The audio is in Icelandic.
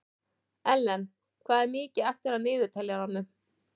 Ellen, hvað er mikið eftir af niðurteljaranum?